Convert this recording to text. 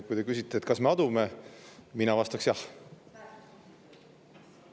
Kui te küsite, et kas me adume, siis mina vastan jah.